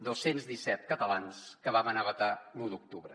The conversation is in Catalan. dos cents i disset catalans que vam anar a votar l’u d’octubre